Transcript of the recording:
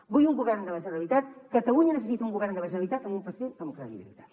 vull un govern de la generalitat catalunya necessita un govern de la generalitat amb un president amb credibilitat